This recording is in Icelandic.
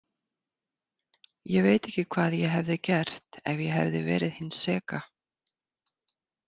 Ég veit ekki hvað ég hefði gert ef ég hefði verið hin seka.